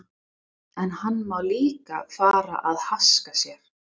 En hann má þá líka fara að haska sér.